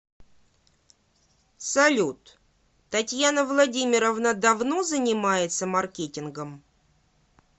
салют татьяна владимировна давно занимается маркетингом